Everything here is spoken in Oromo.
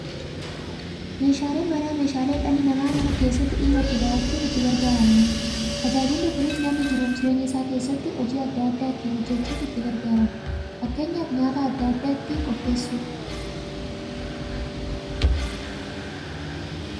Meeshaaleen Manaa meeshaalee dhalli namaa Mana keessatti dhimma itti ba'achuuf itti gargaaramaniidha. Tajaajilli kunis, namni jiruuf jireenya isaa keessatti hojii adda adda ittiin hojjachuuf itti gargaaramu. Fakkeenyaaf, nyaata adda addaa ittiin qopheessuuf.